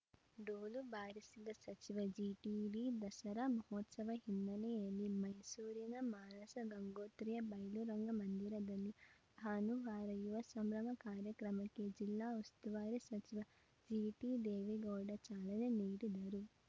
ಡೋಲು ಬಾರಿಸಿದ ಸಚಿವ ಜಿಟಿಡಿ ದಸರಾ ಮಹೋತ್ಸವ ಹಿನ್ನೆಲೆಯಲ್ಲಿ ಮೈಸೂರಿನ ಮಾನಸ ಗಂಗೋತ್ರಿಯ ಬಯಲುರಂಗಮಂದಿರದಲ್ಲಿ ಭಾನುವಾರ ಯುವ ಸಂಭ್ರಮ ಕಾರ್ಯಕ್ರಮಕ್ಕೆ ಜಿಲ್ಲಾ ಉಸ್ತುವಾರಿ ಸಚಿವ ಜಿಟಿದೇವೇಗೌಡ ಚಾಲನೆ ನೀಡಿದರು